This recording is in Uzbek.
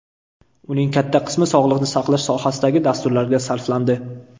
Uning katta qismi sog‘liqni saqlash sohasidagi dasturlarga sarflandi.